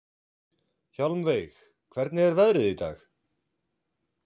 Hjálmveig, hvernig er veðrið í dag?